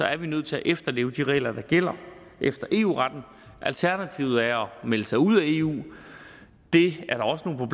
er vi nødt til at efterleve de regler der gælder efter eu retten alternativet er at melde sig ud af eu det